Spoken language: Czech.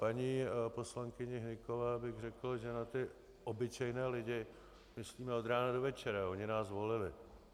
Paní poslankyni Hnykové bych řekl, že na ty obyčejné lidi myslíme od rána do večera, oni nás zvolili.